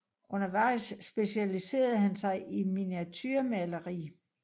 Undervejs specialiserede han sig i miniaturemaleri